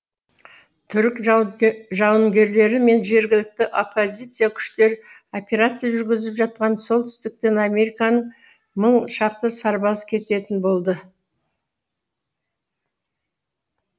түрік жауынгерлері мен жергілікті оппозиция күштері операция жүргізіп жатқан солтүстіктен американың мың шақты сарбазы кететін болды